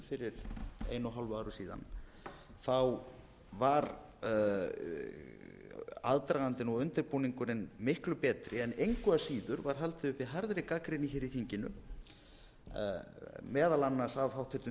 fyrir einu og hálfu ári síðan var aðdragandinn og undirbúningurinn miklu betri en engu að síður var haldið uppi harðri gagnrýni hér í þinginu meðal annars af háttvirtum